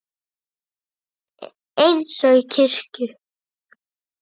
Eins og í kirkju.